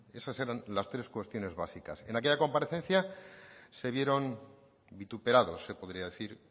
esas eran las tres cuestiones básicas en aquella comparecencia se vieron vituperados se podría decir